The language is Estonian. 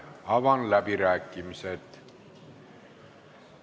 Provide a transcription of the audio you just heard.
Avan läbirääkimised.